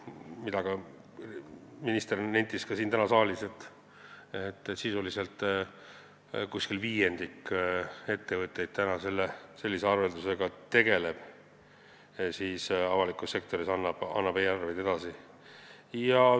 Minister nentis ka täna siin saalis, et sisuliselt viiendik ettevõtteid tegeleb sellise arveldusega, et annab avalikus sektoris e-arveid edasi.